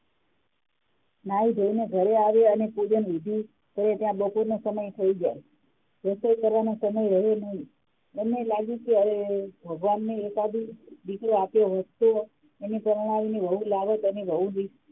નાઈ ધોઇ ને ઘરે આવે પૂજન વિધી કરે ત્યા બપોર નો સમય થઇ જાય કરવા નો સમય રહે નહિ બંને લાગ્યું કે હવે ભગવાન ને એક આદો દીકરો આપ્યો હોત એને પરણાવી ને વહુ લાવોત અને વહુ